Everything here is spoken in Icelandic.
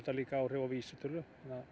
líka áhrif á vísitölu